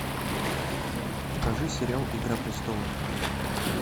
покажи сериал игра престолов